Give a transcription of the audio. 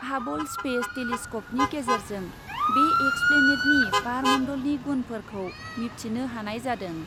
Hubble space टेलिस्क'पनि गेजेरजों बे एक्सप्लेनेटनि बारमन्डलनि गुनफोरखौ मिबथिनो हानाय जादों।